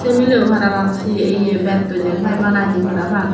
se melebo parapang se ye betoi jempai banai de parapang.